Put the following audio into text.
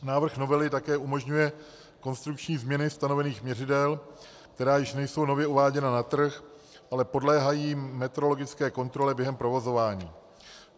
Návrh novely také umožňuje konstrukční změny stanovených měřidel, která už nejsou nově uváděna na trh, ale podléhají metrologické kontrole během provozování.